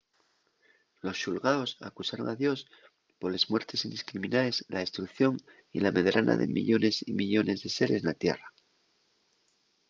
los xulgaos acusaron a dios poles muertes indiscriminaes la destrucción y la medrana de millones y millones de seres na tierra